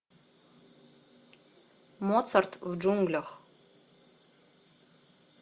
моцарт в джунглях